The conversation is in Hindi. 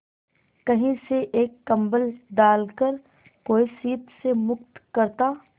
कहीं से एक कंबल डालकर कोई शीत से मुक्त करता